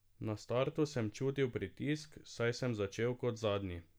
Na startu sem čutil pritisk, saj sem začel kot zadnji.